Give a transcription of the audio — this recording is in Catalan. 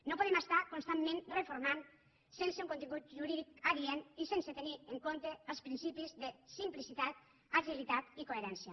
no podem estar constantment reformant sense un contingut jurídic adient i sense tenir en compte els principis de simplicitat agilitat i coherència